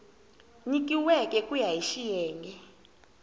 nyikiweke ku ya hi xiyenge